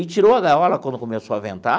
E tirou a gaiola quando começou a ventar?